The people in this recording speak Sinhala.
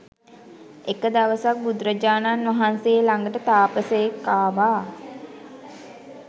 එක දවසක් බුදුරජාණන් වහන්සේ ළඟට තාපසයෙක් ආවා